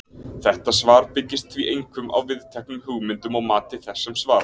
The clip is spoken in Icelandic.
Þetta svar byggist því einkum á viðteknum hugmyndum og mati þess sem svarar.